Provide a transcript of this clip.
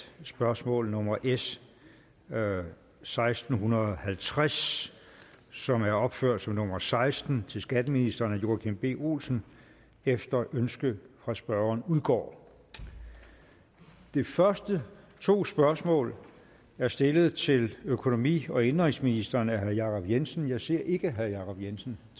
spørgsmål nummer s seksten halvtreds som er opført som nummer seksten til skatteministeren af joachim b olsen efter ønske fra spørgeren udgår de første to spørgsmål er stillet til økonomi og indenrigsministeren af herre jacob jensen jeg ser ikke at herre jacob jensen